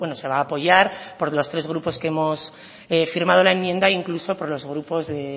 se va a apoyar por los tres grupos que hemos firmado la enmienda incluso por los grupos de